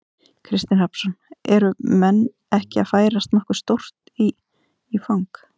Kristinn Hrafnsson: Eru menn ekki að færast nokkuð stórt í, í fang?